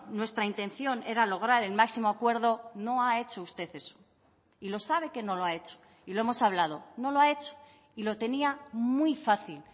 nuestra intención era lograr el máximo acuerdo no ha hecho usted eso y lo sabe que no lo ha hecho y lo hemos hablado no lo ha hecho y lo tenía muy fácil